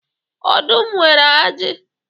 Ọdụm nwere aji.